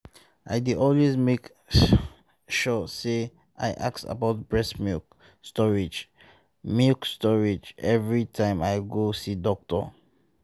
i dey always make sure say i ask about breast milk storage milk storage every time i go see doctor